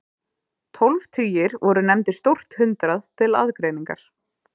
Tólf tugir voru nefndir stórt hundrað til aðgreiningar.